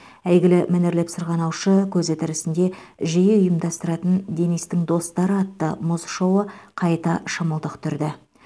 әйгілі мәнерлеп сырғанаушы көзі тірісінде жиі ұйымдастыратын денистің достары атты мұз шоуы қайта шымылдық түрді